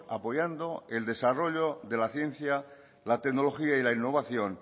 apoyando el desarrollo de la ciencia la tecnología y la innovación